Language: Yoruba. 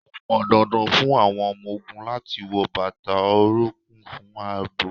Ó pọn dandan fún àwọn ọmọ ogún láti wọ bàtà orunkun fún ààbò